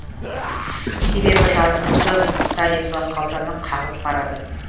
себебі жарықтың тарифі қалтаны қағып барады